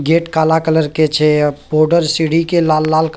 gate काला colour के छै बॉर्डर सीढ़ी के लाल-लाल --